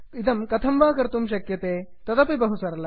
इदं कथं वा कर्तुं शक्यते तदपि बहु सरलम्